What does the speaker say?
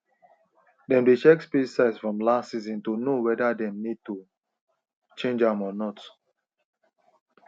them dey check spade size from last season to know weather them need to change am or not